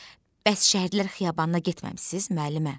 Bəs şəhidlər xiyabanına getməmisiniz, müəllimə?